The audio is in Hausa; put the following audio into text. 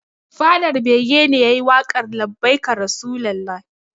Fadar bege ne yayi waƙar labbaika rasulullah